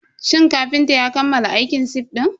Shin kafintan ya kammala aikin sif din?